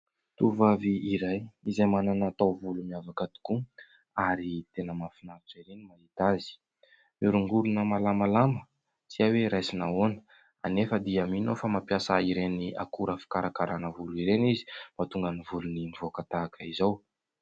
Tovovavy iray izay manana taovolo miavaka tokoa ary tena mahafinaritra erỳ ny mahita azy. Mihorongorona malamalama tsy hay hoe raisina ahoana anefa dia mino aho fa mampiasa ireny akora fikarakaràna volo ireny izy mba ahatonga ny volony mivoaka tahaka izao.